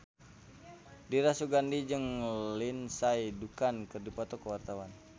Dira Sugandi jeung Lindsay Ducan keur dipoto ku wartawan